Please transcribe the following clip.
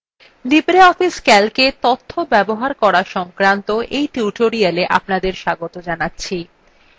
libreoffice calcএ তথ্য ব্যবহার করা সংক্রান্ত এই tutorialএ স্বাগত জানাচ্ছি